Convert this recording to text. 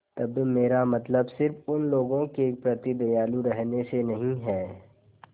तब मेरा मतलब सिर्फ़ उन लोगों के प्रति दयालु रहने से नहीं है